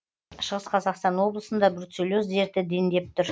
шығыс қазақстан облысында бруцеллез дерті дендеп тұр